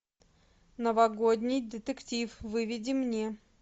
новогодний детектив выведи мне